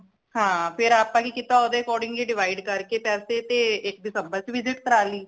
ਹਾਂ ਫਿਰ ਆਪਾ ਕਿ ਕੀਤਾ ਓਦੇ according ਹੀ divide ਕਰਕੇ ਪੈਸੇ ਤੇ ਇਕ ਦਿਸੰਬਰ ਚ visit ਕਰਾ ਲੀ